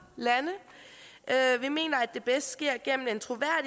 lande vi mener at det bedst sker gennem